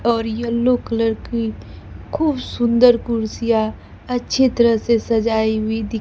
और yellow colour की खूब सुंदर कुर्सियां अच्छी तरह से सजाई हुई दि।